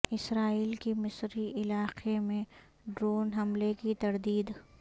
اسرائیل کی مصری علاقے میں ڈرون حملے کی تردید